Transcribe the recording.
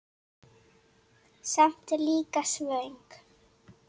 Samt líka svöng.